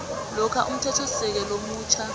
lokha umthethosisekelo omutjha